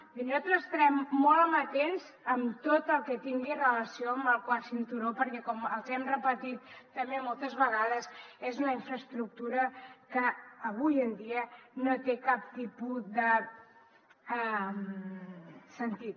és a dir nosaltres estarem molt amatents a tot el que tingui relació amb el quart cinturó perquè com els hem repetit també moltes vegades és una infraestructura que avui en dia no té cap tipus de sentit